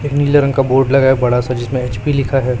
एक नीले रंग का बोर्ड लगा है बड़ा सा जिसमें एच_पी लिखा है।